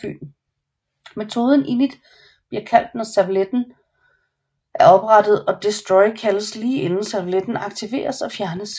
Metoden init bliver kaldt når servletten er oprettet og destroy kaldes lige inden servletten deaktiveres og fjernes